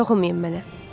Toxunmayın mənə.